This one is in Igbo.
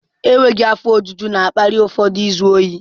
Enweghị afọ ojuju na-akpali ụfọdụ izu ohi.